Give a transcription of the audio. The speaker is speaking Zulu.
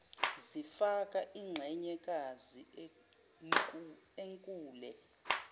zifaka inxenyekazi enkule